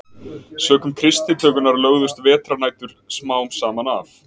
Sökum kristnitökunnar lögðust veturnætur smám saman af.